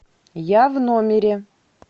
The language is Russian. я в номере